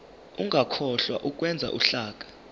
ungakhohlwa ukwenza uhlaka